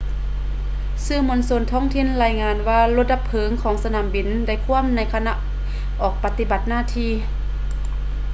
ສື່ມວນຊົນທ້ອງຖິ່ນລາຍງານວ່າລົດດັບເພີງຂອງສະໜາມບິນໄດ້ຂວ້ຳໃນຂະນະອອກປະຕິບັດໜ້າທີ່